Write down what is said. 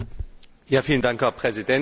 Herr Präsident, Herr Kommissar!